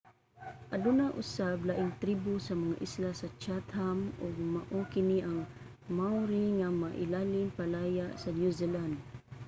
aduna usab laing tribo sa mga isla sa chatham ug mao kini ang maori nga milalin palayo sa new zealand